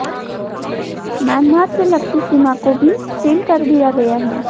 Myanmar से लगती सीमा को भी सील कर दिया गया है